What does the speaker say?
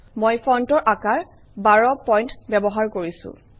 মই ফণ্টৰ আকাৰ ১২ পইণ্ট ব্যৱহাৰ কৰিছোঁ